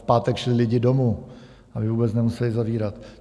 V pátek šli lidi domů, aby vůbec nemuseli zavírat.